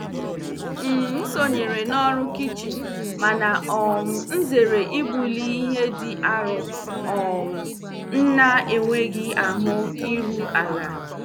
M sonyeere n'ọrụ kichin mana um m zere ibuli ihe dị arọ um m na-enweghị ahụ iru ala.